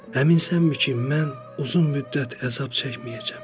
Əminsənmi ki, mən uzun müddət əzab çəkməyəcəm?